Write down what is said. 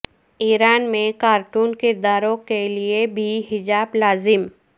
ایران میں کارٹون کرداروں کے لئے بھی حجاب لازم